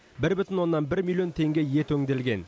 бір бүтін оннан бір миллион теңге ет өңделген